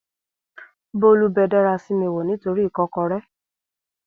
Bólú bẹ dárasími wò nítoríi ìkọ́kọrẹ́